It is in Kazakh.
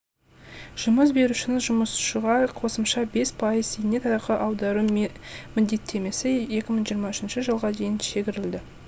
жұмыс берушінің жұмысшыға қосымша бес пайыз зейнетақы аудару міндеттемесі екі мың жиырма үшінші жылға дейін шегерілді